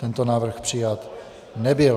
Tento návrh přijat nebyl.